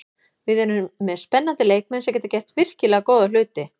Við erum með spennandi leikmenn sem geta gert virkilega góða hluti.